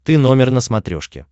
ты номер на смотрешке